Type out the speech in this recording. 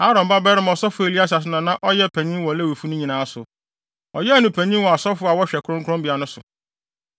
Aaron babarima ɔsɔfo Eleasar no na na ɔyɛ ɔpanyin wɔ Lewifo no nyinaa so. Ɔyɛɛ no panyin wɔ asɔfo a wɔhwɛ kronkronbea no so.